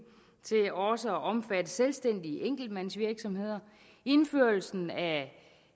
til også at omfatte selvstændige enkeltmandsvirksomheder indførelsen af